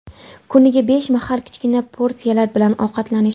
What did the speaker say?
Kuniga besh mahal, kichkina porsiyalar bilan ovqatlanish.